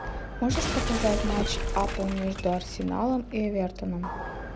можешь показать матч апл между арсеналом и эвертоном